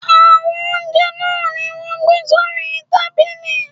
Àwọn oúnjẹ náà ni wọ́n máa ń gbé sórí tábìlì.